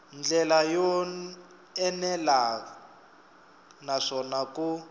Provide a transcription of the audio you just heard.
ndlela yo enela naswona ku